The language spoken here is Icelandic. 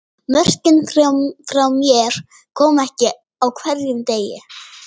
Mörkin frá mér koma ekki á hverjum degi.